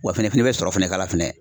Wa fɛnɛ i fɛnm bɛ sɔrɔ fɛnɛ k'a la fɛnɛ.